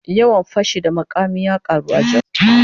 Yawan fashi da makami ya karu a Jos.